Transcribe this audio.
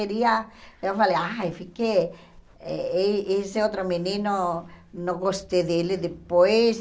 Iria eu falei, ai fiquei e e esse outro menino, não gostei dele depois.